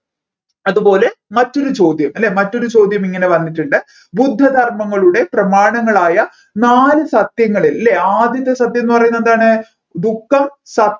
അതുപോലെ മറ്റൊരു ചോദ്യം അല്ലെ മറ്റൊരു ചോദ്യം ഇങ്ങനെ വന്നിട്ടുണ്ട് ബുദ്ധധർമങ്ങളുടെ പ്രമാണങ്ങാളായ നാല് സത്യങ്ങൾ അല്ലെ ആദ്യത്തെ സത്യം എന്നുപറയുന്നത് എന്താണ് ദുഃഖം